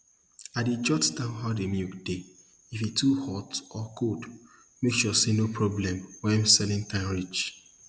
i dey jot down how de milk dey if e too hot or cold make sure say no problem when selling time reach